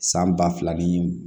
San ba fila ni